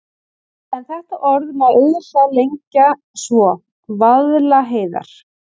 En þetta orð má auðveldlega lengja svo: Vaðlaheiðar.